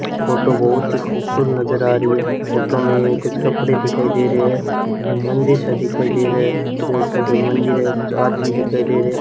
photo बहुत ही खूबसूरत नजर आ रही है फोटो में कुछ कपड़े दिखाई दे रहे हैं एक मंदिर सा दिखाई दे रहा है ऐसा लगता है कोई मंदिर है कुछ आदमी दिखाई दे रहे --